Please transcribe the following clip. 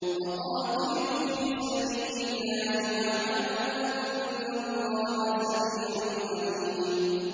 وَقَاتِلُوا فِي سَبِيلِ اللَّهِ وَاعْلَمُوا أَنَّ اللَّهَ سَمِيعٌ عَلِيمٌ